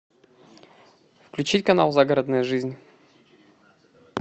включить канал загородная жизнь